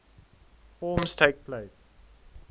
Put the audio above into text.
forms takes place